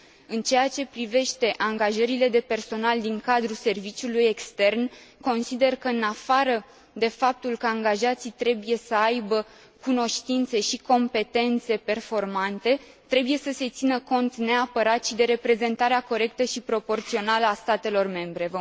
În ceea ce privește angajările de personal din cadrul serviciului extern, consider că în afară de faptul că angajații trebuie să aibă cunoștințe și competențe performante, trebuie să se țină cont, neapărat, și de reprezentarea corectă și proporțională a statelor membre.